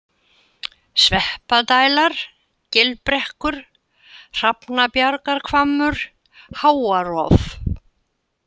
Sveppadælar, Gilbrekkur, Hrafnabjargarhvammur, Háarof